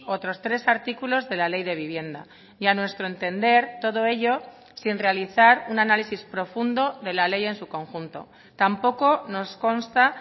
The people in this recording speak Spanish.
otros tres artículos de la ley de vivienda y a nuestro entender todo ello sin realizar un análisis profundo de la ley en su conjunto tampoco nos consta